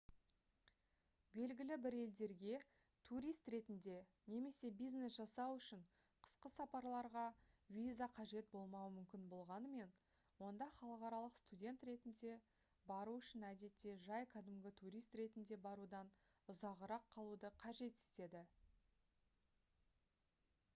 белгілі бір елдерге турист ретінде немесе бизнес жасау үшін қысқа сапарларға виза қажет болмауы мүмкін болғанымен онда халықаралық студент ретінде бару үшін әдетте жай кәдімгі турист ретінде барудан ұзағырақ қалуды қажет етеді